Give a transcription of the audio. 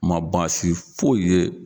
Ma baasi foyi ye.